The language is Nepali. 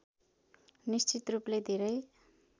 निश्चित रूपले धेरै